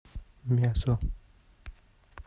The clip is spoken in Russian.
мясо